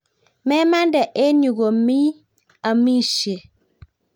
Memande eng' yu kome amisye